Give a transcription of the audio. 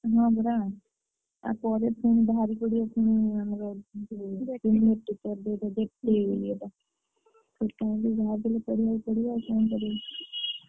ହଁ ପରା ତାପରେ ପୁଣି ବାହାରିପଡ଼ିବ ପୁଣି ଆମର ଯୋଉ ଇଏଟା